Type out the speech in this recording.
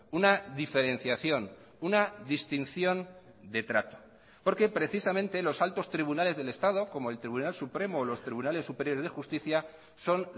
una diferenciación una distinción de trato porque precisamente los altos tribunales del estado como el tribunal supremo o los tribunales superiores de justicia son